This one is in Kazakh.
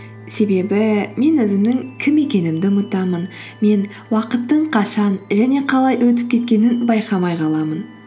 себебі мен өзімнің кім екенімді ұмытамын мен уақыттың қашан және қалай өтіп кеткенін байқамай қаламын